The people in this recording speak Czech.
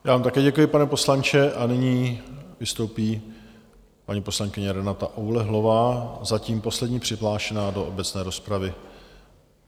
Já vám také děkuji, pane poslanče, a nyní vystoupí paní poslankyně Renata Oulehlová, zatím poslední přihlášená do obecné rozpravy.